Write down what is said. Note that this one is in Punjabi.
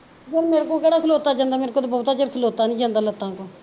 ਫਿਰ ਮੇਰੇ ਕੋਲੋਂ ਕਿਹੜਾ ਖਲੋਤਾ ਜਾਂਦਾ ਮੇਰੇ ਤੋਂ ਬਹੁਤ ਚਿਰ ਖਲੋਤਾ ਨੀ ਜਾਂਦਾ ਲੱਤਾਂ ਤੋਂ